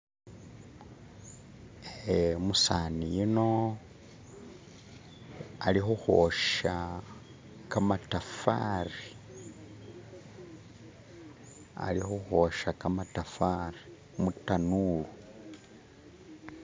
Eh umusani uno ali khukhwosya kamatafari mutanulu.